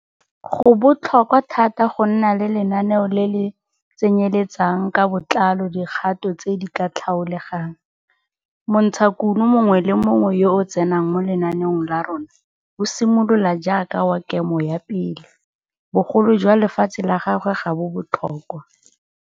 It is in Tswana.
Go botlhokwa thata go nna le lenaneo le le tsenyeletsang ka botlalo dikgato tse di ka tlhaolegang montshakuno mongwe le mongwe yo o tsenang mo lenaneong la rona, o simolola jaaka wa Kemo 1 bogolo jwa lefatshe la gagwe ga bo botlhokwa.